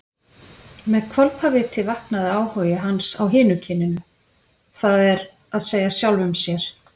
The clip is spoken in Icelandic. Með hvolpaviti vaknaði áhugi hans á hinu kyninu, það er að segja sjálfum sér.